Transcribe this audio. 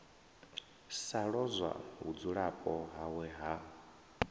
sa lozwa vhudzulapo hawe ha